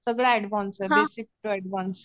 सगळं ऍडव्हान्स आहे basic to advance